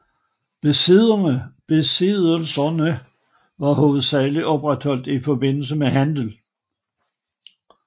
Besiddelserne var hovedsageligt opretholdt i forbindelse med handel